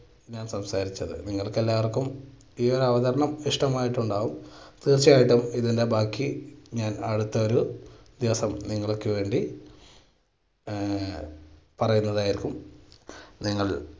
ഞാൻ സംസാരിച്ചത് നിങ്ങൾക്കെല്ലാവർക്കും ഈ അവതരണം ഇഷ്ടമായിട്ടുണ്ടാകും തീർച്ചയായിട്ടും ഇതിൻറെ ബാക്കി ഞാൻ അടുത്ത ഒരു ദിവസം നിങ്ങൾക്ക് വേണ്ടി ആഹ് പറയുന്നതായിരിക്കും. നിങ്ങൾ